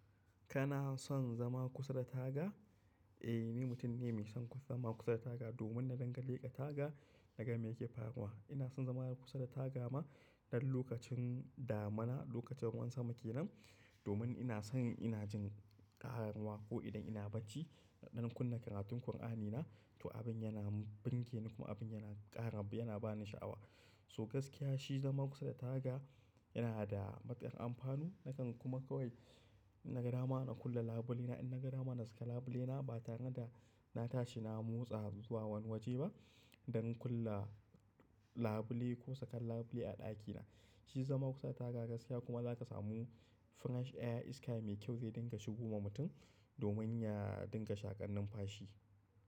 Kana son zama kusa da taga? Ni mutum ne mai son zama kusa da taga domin na danganta daga na ga me yake faruwa. Ina son zama kusa da taga ma don lokacin damana, lokacin ruwan sama ke nan domin ina son ina jin ƙararwa ko idan ina bacci, don kunna karatun Kur'ani na to abin yana bunge ni kuma abin yana ƙara yana ba ni sha'awa. So gaskiya shi zama kusa da taga yana da matuƙar amfanu. Nakan kuma kawai naga dama na kulle labule na, in naga dama na saka labule na ba tare da na tashi na motsa zuwa wani waje ba don kulle labule ko saka labule a ɗakina. Shi zama kusa da taga gaskiya kuma za ka samu fresh air iska mai kyau zai dinga shigo ma mutum domin ya dinga shaƙannin fashi.